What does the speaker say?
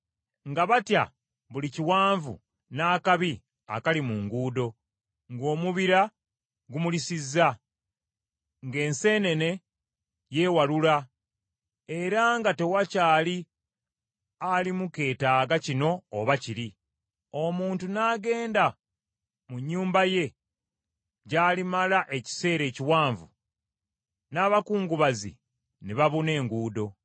nga batya buli kiwanvu n’akabi akali mu nguudo, ng’omubira gumulisizza, ng’enseenene yeewalula era nga tewakyali alimu keetaaga kino oba kiri. Omuntu n’agenda mu nnyumba ye gy’alimala ekiseera ekiwanvu n’abakungubazi ne babuna enguudo.